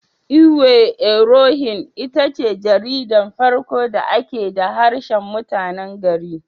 Iwe irohin itace jaridar farko da aka da harshen mutanen gari.